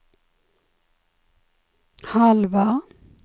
halva